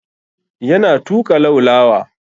Yana tuƙa laulawa.